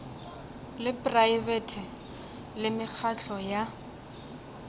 la praebete le mekgatlo ya